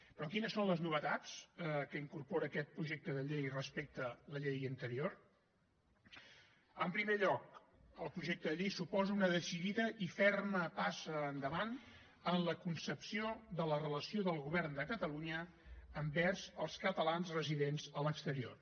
però quines són les novetats que incorpora aquest projecte de llei respecte a la llei anterior en primer lloc el projecte de llei suposa una decidida i ferma passa endavant en la concepció de la relació del govern de catalunya envers els catalans residents a l’exterior